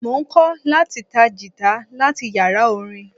Mo ń kọ́ láti ta Gìtá láti yàrá orin.